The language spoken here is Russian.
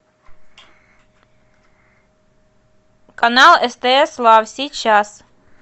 канал стс лав сейчас